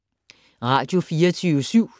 Radio24syv